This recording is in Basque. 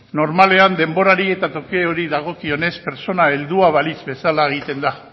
normalean denborari eta tokiari dagokionez pertsona heldua balitz bezala egiten da